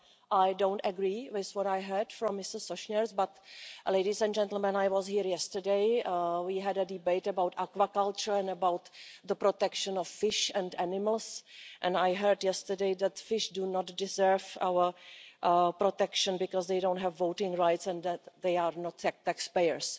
I don't agree with what I heard from Mr Sośnierz but, ladies and gentlemen, I was here yesterday and we had a debate about agriculture and about the protection of fish and animals and yesterday I heard that fish do not deserve our protection because they don't have voting rights and they are not taxpayers!